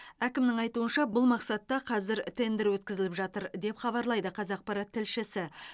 әкімнің айтуынша бұл мақсатта қазір тендер өткізіліп жатыр деп хабарлайды қазақпарат тілшісі